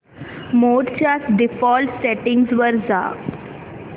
मोड च्या default settings वर जा